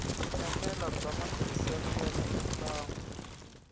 enela bya matirhiselo ya mimbangu